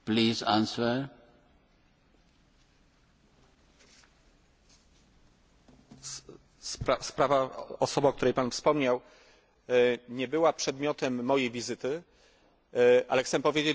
Sprawa, osoba, o której Pan wspomniał, nie była przedmiotem mojej wizyty, ale chcę powiedzieć, że bardzo mocno interesowałem się sprawami osób, które wizytowały nasz Parlament pana Kozłowa, wcześniej pana Winiawskiego.